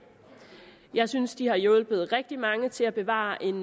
jeg synes de har hjulpet rigtig mange til at bevare en